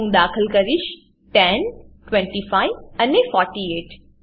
હું દાખલ કરીશ 10 25 અને 48